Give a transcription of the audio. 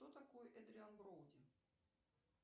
кто такой эдриан броуди